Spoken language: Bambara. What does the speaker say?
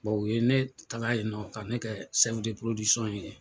o ye ne taala yen nɔ ka ne kɛ ye yen.